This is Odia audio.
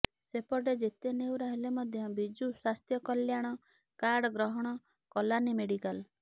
ସେପଟେ ଯେତେ ନେହୁରା ହେଲେ ମଧ୍ୟ ବିଜୁ ସ୍ୱାସ୍ଥ୍ୟ କଲ୍ୟାଣ କାର୍ଡ ଗ୍ରହଣ କଲାନି ମେଡିକାଲ